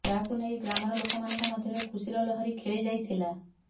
ଯାହାକୁ ନେଇ ଗ୍ରାମର ଲୋକମାନଙ୍କ ମଧ୍ୟରେ ଖୁସିର ଲହରୀ ଖେଳିଯାଇଥିଲା